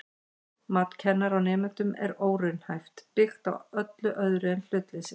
Mat kennara á nemendum er óraunhæft, byggt á öllu öðru en hlutleysi.